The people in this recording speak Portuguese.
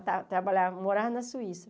Eu ta trabalhava, morava na Suíça.